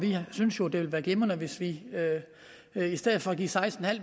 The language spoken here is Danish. vi synes jo det ville være glimrende hvis vi i stedet for at give seksten